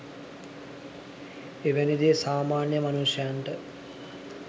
එවැනි දේ සාමාන්‍ය මනුෂ්‍යයන්ට